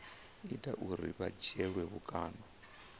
ita uri vha dzhielwe vhukando